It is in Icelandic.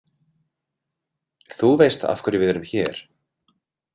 Þú veist af hverju við erum hér?